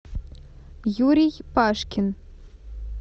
юрий пашкин